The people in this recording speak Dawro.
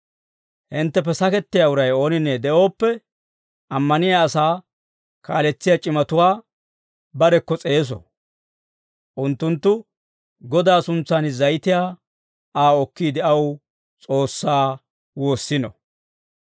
Hintteppe sakettiyaa uray ooninne de'ooppe, ammaniyaa asaa kaaletsiyaa c'imatuwaa barekko s'eeso; unttunttu Godaa suntsan zayitiyaa Aa okkiide, aw S'oossaa woossino.